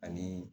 Ani